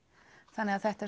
þannig að þetta er